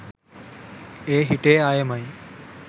ඒ හිටිය අයමයි.